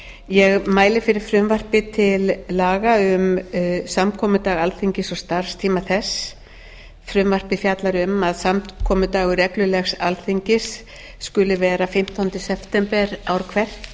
ég mæli fyrir frumvarpi til laga um samkomudag alþingis og starfstíma þess frumvarpið fjallar um að samkomudagur reglulegs alþingis skuli vera fimmtánda september ár hvert